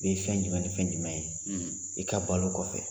Ni fɛn jumɛn ni fɛn jumɛn ye i ka balo kɔfɛ